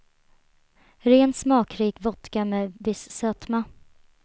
Ren, smakrik vodka med viss sötma.